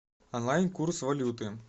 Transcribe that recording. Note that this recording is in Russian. онлайн курс валюты